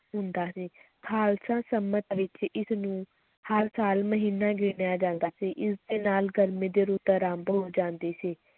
ਹੁੰਦਾ ਸੀ, ਖ਼ਾਲਸਾ ਸੰਮਤ ਵਿੱਚ ਇਸ ਨੂੰ ਹਰ ਸਾਲ ਮਹੀਨਾ ਗਿਣਿਆ ਜਾਂਦਾ ਸੀ, ਇਸ ਦੇ ਨਾਲ ਗਰਮੀ ਦੀ ਰੁੱਤ ਅਰੰਭ ਹੋ ਜਾਂਦੀ ਸੀ,